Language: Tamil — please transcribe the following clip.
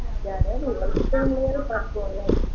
யாராவது work பண்றதயாவது பாப்போம்ல.